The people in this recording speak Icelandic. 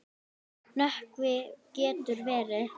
Nökkvi getur verið